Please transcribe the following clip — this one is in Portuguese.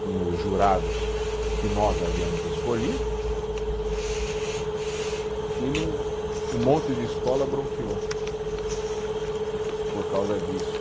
com os jurados que nós havíamos escolhido, e no, um monte de escola bronqueou por causa disso.